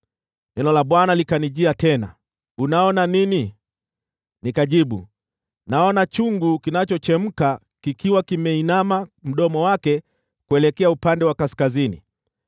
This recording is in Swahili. Neno la Bwana likanijia tena, “Unaona nini?” Nikajibu, “Naona chungu kinachochemka, kikiwa kimeinama kutoka kaskazini.”